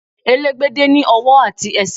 Elégbédé ní ọwọ́ àti ẹsẹ̀.